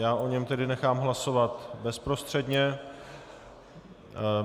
Já o něm tedy nechám hlasovat bezprostředně.